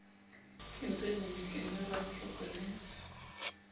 kentsweng lebitleng la ramoroko le